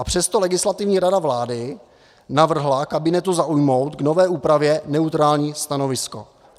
A přesto Legislativní rada vlády navrhla kabinetu zaujmout k nové úpravě neutrální stanovisko.